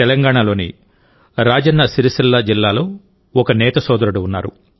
తెలంగాణలోని రాజన్న సిరిసిల్ల జిల్లాలో ఒక నేత సోదరుడు ఉన్నారు